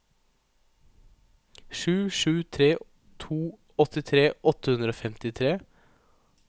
sju sju tre to åttitre åtte hundre og femtitre